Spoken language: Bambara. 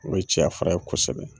O ye cɛya fura ye kosɛbɛ.